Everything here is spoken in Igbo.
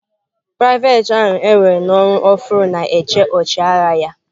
Private ahu ewere n'ọrụ ofuru na-eche ọchịagha ya.